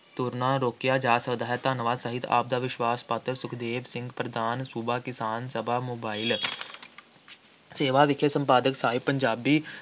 ਤੁਰਨੋਂ ਰੋਕਿਆ ਜਾ ਸਕਦਾ ਹੈ । ਧੰਨਵਾਦ ਸਹਿਤ, ਆਪ ਦਾ ਵਿਸ਼ਵਾਸ-ਪਾਤਰ, ਸੁਖਦੇਵ ਸਿੰਘ ਪ੍ਰਧਾਨ ਸੂਬਾ ਕਿਸਾਨ ਸਭਾ ਮੋਬਾਇਲ। ਸੇਵਾ ਵਿਖੇ, ਸੰਪਾਦਕ ਸਾਹਿਬ ਪੰਜਾਬੀ